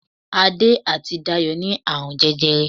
Adé àti Dayọ̀ ní àrùn jẹjẹrẹ